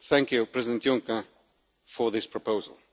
Thank you, President Juncker, for this proposal.